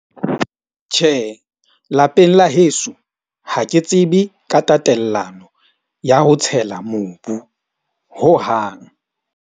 Tjhe, lapeng la heso, ha ke tsebe ka tatellano ya ho tshela mobu hohang.